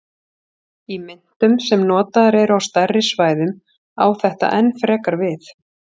Í myntum sem notaðar eru á stærri svæðum á þetta enn frekar við.